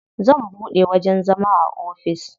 Zan buɗe wajen zama na ofis.